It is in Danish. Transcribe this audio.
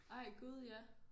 Ej gud ja